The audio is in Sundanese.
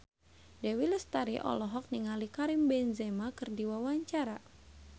Dewi Lestari olohok ningali Karim Benzema keur diwawancara